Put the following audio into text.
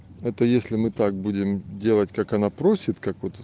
это если мы так будем делать как она просит как вот